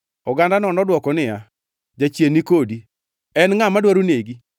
Ogandano nodwoko niya, “Jachien ni kodi! En ngʼa madwaro negi?”